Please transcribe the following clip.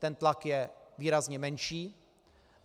Ten tlak je výrazně menší.